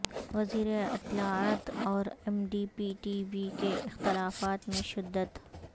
وزیر اطلاعات اور M D P T V کے اختلافات میں شدت